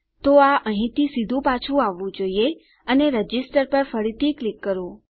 તો આ અહીંથી સીધું પાછું આવવું જોઈએ અને રજિસ્ટર પર ફરીથી ક્લિક કરો